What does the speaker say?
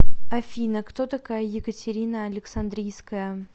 афина кто такая екатерина александрийская